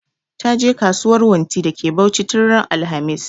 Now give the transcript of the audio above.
Ta je kasuwan wunti da ke Bauchi tun ran alhamis